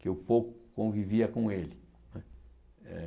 que eu pouco convivia com ele. Eh